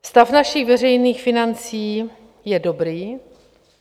Stav našich veřejných financí je dobrý.